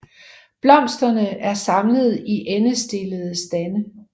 Blomsterne er samlet i endestillede stande